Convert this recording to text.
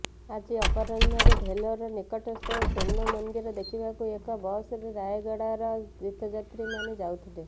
ଆଜି ଅପରାହ୍ଣରେ ଭେଲୋର ନିକଟସ୍ଥ ସ୍ୱର୍ଣ୍ଣ ମନ୍ଦିର ଦେଖିବାକୁ ଏକ ବସରେ ରାୟଗଡ଼ାର ତୀର୍ଥଯାତ୍ରୀମାନେ ଯାଉଥିଲେ